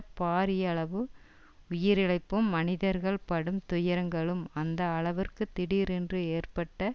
பாரியளவு உயிரிழப்பும் மனிதர்கள் படும் துயரங்களும் அந்த அளவுக்கு திடீரென்று ஏற்பட்ட